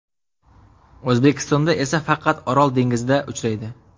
O‘zbekistonda esa faqat Orol dengizida uchraydi.